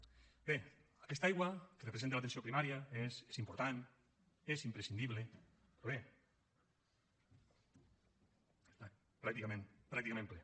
bé aquesta aigua que representa l’atenció primària és important és imprescindible però bé està pràcticament ple